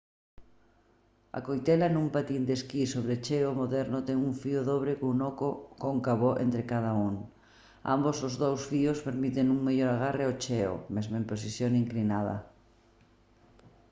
a coitela nun patín de esquí sobre xeo moderno ten un fío dobre cun oco cóncavo entre cada un ambos os dous fíos permiten un mellor agarre ao xeo mesmo en posición inclinada